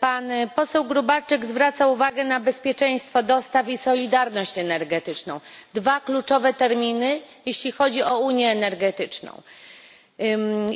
Pan poseł Gróbarczyk zwraca uwagę na bezpieczeństwo dostaw i solidarność energetyczną dwa kluczowe terminy, jeśli chodzi o unię energetyczną,